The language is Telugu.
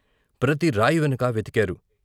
ప్రతి రాయి వెనుకా వెతికారు.